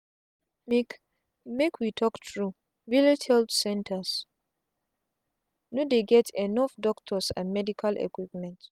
make make we talk truevillage health centers no dey get enough doctors and medical equipment